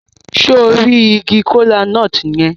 Se o ri igi kola-nut yẹn?